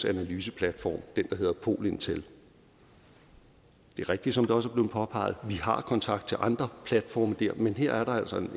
analyseplatform den der hedder pol intel det er rigtigt som det også blev påpeget at vi har kontakt til andre platforme men her er der altså